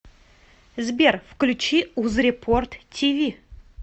сбер включи узрепорт ти ви